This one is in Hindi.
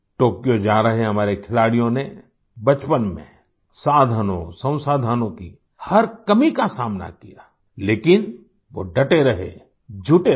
टोक्यो जा रहे हमारे खिलाड़ियों ने बचपन में साधनोंसंसाधनों की हर कमी का सामना किया लेकिन वो डटे रहे जुटे रहे